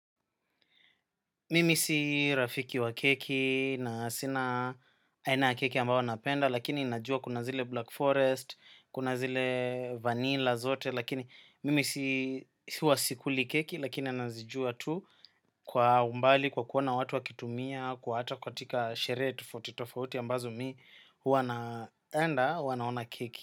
Mimi si rafiki wa keki na sina aina ya keki ambayo napenda, lakini najua kunazile black forest, kunazile vanilla zote, lakini mimi si wasikuli keki, lakini anazijua tu kwa umbali, kwa kuona watu wakitumia, kwa hata katika sherehe tofauti ambazo mi wanaenda, wanaona keki.